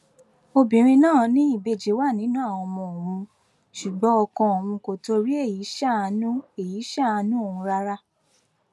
obìnrin náà ní ìbejì wà nínú àwọn ọmọ òun ṣùgbọn ọkọ òun kò torí èyí ṣàánú èyí ṣàánú òun rárá